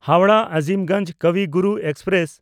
ᱦᱟᱣᱲᱟᱦ–ᱟᱡᱤᱢᱜᱚᱧᱡᱽ ᱠᱚᱵᱤ ᱜᱩᱨᱩ ᱮᱠᱥᱯᱨᱮᱥ